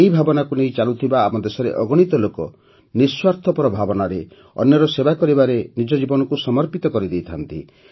ଏହି ଭାବନାକୁ ନେଇ ଚାଲୁଥିବା ଆମର ଦେଶରେ ଅଗଣିତ ଲୋକ ନିଃସ୍ୱାର୍ଥ ଭାବନାରେ ଅନ୍ୟର ସେବା କରିବାରେ ନିଜ ଜୀବନକୁ ସମର୍ପିତ କରିଦେଇଥାନ୍ତି